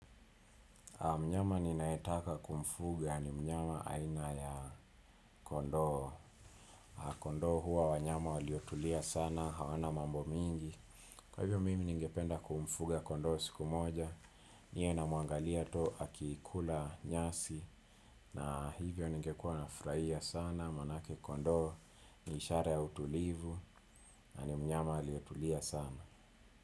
Mnyama ninaetaka kumfuga ni mnyama aina ya kondoo. Kondoo huwa wanyama waliotulia sana, hawana mambo mingi. Kwa hivyo mimi ningependa kumfuga kondoo siku moja, niwe namwangalia tu akikula nyasi, na hivyo ningekua nafraia sana, manake kondoo ni ishara ya utulivu, na ni mnyama aliyetulia sana.